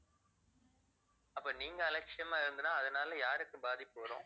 அப்ப நீங்க அலட்சியமா இருந்ததுன்னா அதனால யாருக்கு பாதிப்பு வரும்